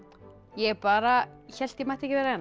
ég bara hélt ég mætti ekki vera